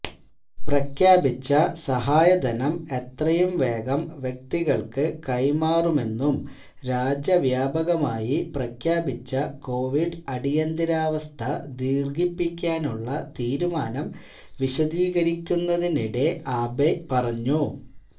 പ്രഖ്യാപിച്ച സഹായധനം എത്രയും വേഗം വ്യക്തികള്ക്ക് കൈമാറുമെന്നും രാജ്യവ്യാപകമായി പ്രഖ്യാപിച്ച കോവിഡ് അടിയന്തരാവസ്ഥ ദീര്ഘിപ്പിക്കാനുള്ള തീരുമാനം വിശദീകരിക്കുന്നതിനിടെ ആബെ പറഞ്ഞു